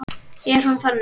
Hún er þannig